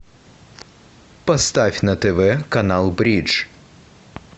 поставь на тв канал бридж